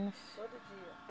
Todo dia?